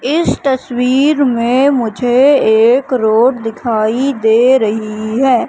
इस तस्वीर मे मुझे एक रोड दिखाई दे रही है।